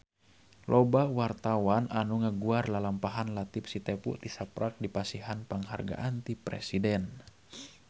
Loba wartawan anu ngaguar lalampahan Latief Sitepu tisaprak dipasihan panghargaan ti Presiden